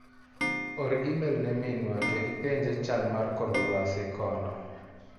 Or imel ne minwa to ipenje chal mar kor luasi kono.